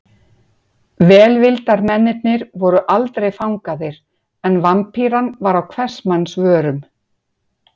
Velvildarmennirnir voru aldrei fangaðir en Vampíran var á hvers manns vörum.